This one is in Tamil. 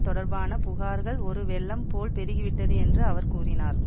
தொடர்பான புகார்கள் ஒரு வெள்ளம் போல் பெருகிவிட்டது என்று அவர் கூறினார்